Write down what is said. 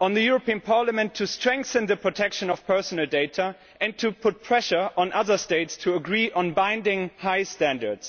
to strengthen the protection of personal data and to put pressure on other states to agree on binding high standards.